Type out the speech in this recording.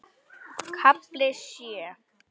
KAFLI SJÖ